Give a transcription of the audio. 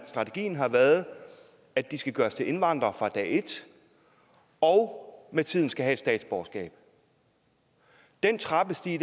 strategien har været at de skal gøres til indvandrere fra dag et og med tiden skal have et statsborgerskab den trappestige